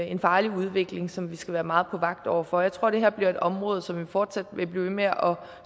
en farlig udvikling som vi skal være meget på vagt over for jeg tror det her bliver et område som vi fortsat vil blive ved med at